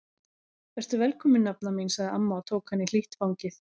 Vertu velkomin nafna mín sagði amma og tók hana í hlýtt fangið.